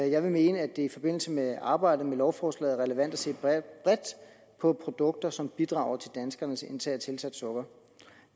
jeg vil mene at det i forbindelse med arbejdet med lovforslaget er relevant at se bredt på produkter som bidrager til danskernes indtag af tilsat sukker